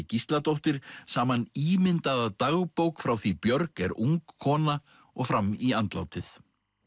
Gísladóttir saman ímyndaða dagbók frá því Björg er ung kona og fram í andlátið